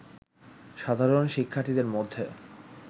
সাধারণ শিক্ষার্থীদের মধ্যে